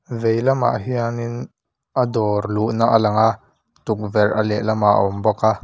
vei lamah hian in a dawr luhna a lang a tukverh a lehlamah a awm bawk a--